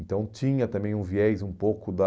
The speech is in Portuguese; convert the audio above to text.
Então, tinha também um viés um pouco da...